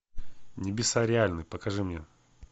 небеса реальны покажи мне